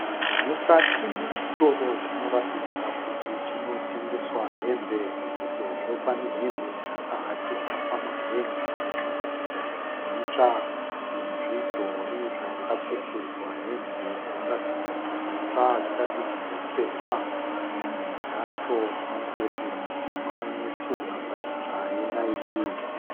Mukati mechitoro chinoratidza kuti chinotengeswa hembe sezvo pane hembe dzakahakirwa pamahen'a dzinoratidza kuti itsva nezvidhori zvakapfekedzwa hembe dzinoratidza kuti itsva dzisati dzambopfekwa. Dzimwe dzacho mudhembe mutema une tsvunha pachidzva yenaiki.